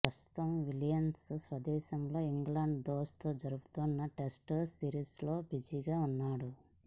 ప్రస్తుతం విలియమ్సన్ స్వదేశంలో ఇంగ్లాండ్తో జరుగుతున్న టెస్టు సిరీస్లో బిజీగా ఉన్నాడు